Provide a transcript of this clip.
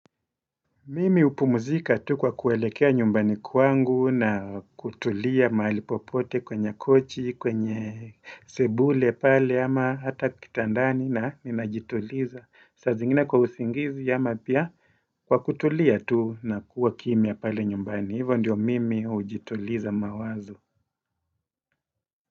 Mimi hupumuzika tu kwa kuelekea nyumbani kwangu na kutulia mahali popote kwenye kochi, kwenye sebule pale ama hata kitandani na ninajituliza. Saa zingine kwa usingizi ama pia kwa kutulia tu na kuwa kimya pale nyumbani. Hivo ndio mimi hujituliza mawazo.